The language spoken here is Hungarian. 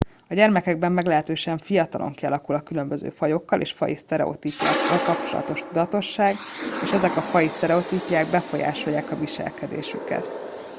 a gyermekekben meglehetősen fiatalon kialakul a a különböző fajokkal és faji sztereotípiákkal kapcsolatos tudatosság és ezek a faji sztereotípiák befolyásolják a viselkedésüket